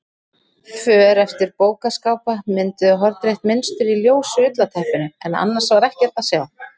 För eftir bókaskápa mynduðu hornrétt mynstur í ljósu ullarteppinu en annars var ekkert að sjá.